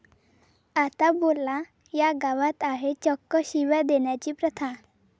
आता बोला, या गावात आहे चक्क शिव्या देण्याची प्रथा!